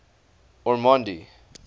ormonde